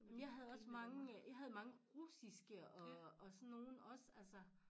Jeg havde også mange øh jeg havde mange russiske og sådan nogen også altså